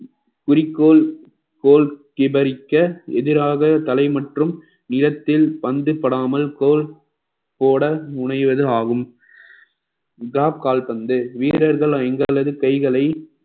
குறிக்கோள் கோல் விவரிக்க எதிராக தலை மற்றும் நிலத்தில் பந்து படாமல் போ~ போட முனைவது ஆகும் drop கால்பந்து வீரர்கள் எங்களது கைகளை